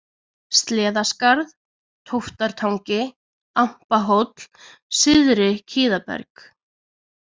Sleðaskarð, Tóftartangi, Ampahóll, Syðri-Kiðaberg